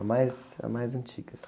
A mais, a mais antiga.